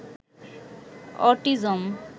autism